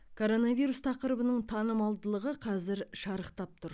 коронавирус тақырыбының танымалдылығы қазір шарықтап тұр